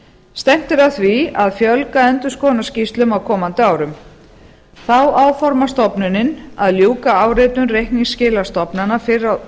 stefnt er að því að fjölga endurskoðunarskýrslum á komandi árum þá áformar stofnunin að ljúka áritun